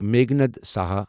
Meghnad Saha